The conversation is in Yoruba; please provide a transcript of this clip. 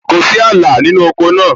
Kò sí ààlà nínú oko náà